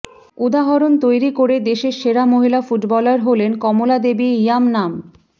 উদাহরণ তৈরি করে দেশের সেরা মহিলা ফুটবলার হলেন কমলা দেবী ইয়ামনাম